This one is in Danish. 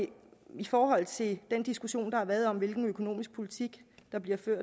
i forhold til den diskussion der har været om hvilken økonomisk politik der bliver ført